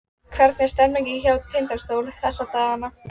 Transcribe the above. Hvernig er stemningin hjá Tindastól þessa dagana?